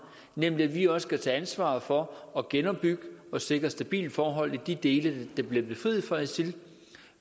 nemlig at vi også skal tage ansvar for at genopbygge og sikre stabile forhold i de dele der bliver befriet fra isil